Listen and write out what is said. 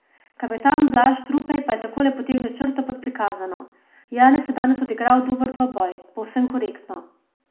Kapetan Blaž Trupej pa je takole potegnil črto pod prikazano: "Janez je danes odigral dober dvoboj, povsem korektno.